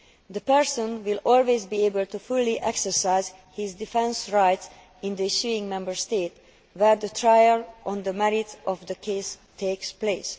The person will always be able to fully exercise his defence rights in the issuing Member State where the trial on the merits of the case takes place.